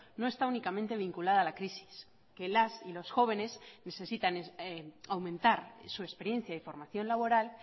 no está únicamente vinculada a la crisis que las y los jóvenes necesitan aumentar su experiencia y formación laboral